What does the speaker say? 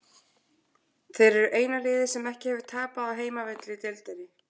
Þeir eru eina liðið sem ekki hefur tapað á heimavelli í deildinni.